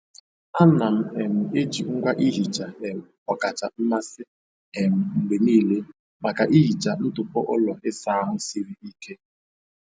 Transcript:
Ana m um eji ngwa ihicha um ọkacha mmasị um m mgbe niile maka ihicha ntụpọ ụlọ ịsa ahụ siri ike.